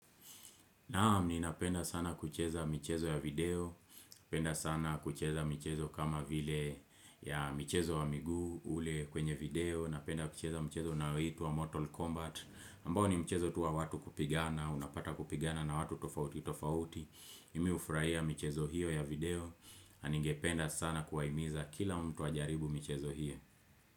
Naam ni napenda sana kucheza michezo ya video, napenda sana kucheza michezo kama vile ya michezo wa miguu ule kwenye video, napenda kucheza michezo na unaitwa Mortal Kombat, ambao ni michezo tu wa watu kupigana, unapata kupigana na watu tofauti tofauti, imi ufuahia michezo hiyo ya video, ningependa sana kuwahimiza kila mtu ajaribu michezo hiyo.